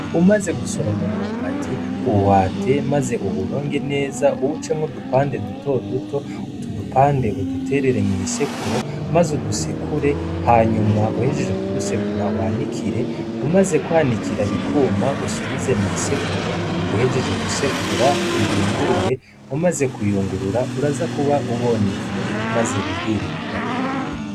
Umaze gusoroma umwumbati uhwate, maze uwuronge neza uwucemwo dupande dutoduto uto udupande uduterere mw'isekuro, maze udusekure hanyuma uhejeje kudusekura wanikire umaze kwanikira bikuma usubize mw'isekuro uhejeje gusekura uyungurure umaze uyungurura uraza kuba ubony’ifu, maze wirire ubugari.